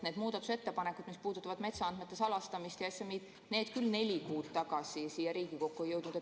Need muudatusettepanekud, mis puudutavad metsaandmete salastamist ja SMI‑d, küll neli kuud tagasi siia Riigikokku ei jõudnud.